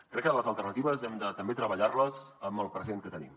crec que les alternatives hem de també treballar les amb el present que tenim